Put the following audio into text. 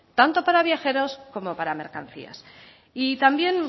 tanto para viajeros como para mercancías y también